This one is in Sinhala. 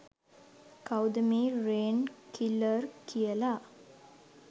කවුද මේ රේන් කිලර් කියල.